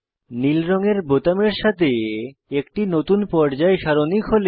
নীল রঙের বোতামের সাথে একটি নতুন পর্যায় সারণী খোলে